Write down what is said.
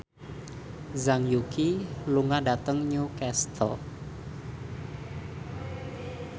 Zhang Yuqi lunga dhateng Newcastle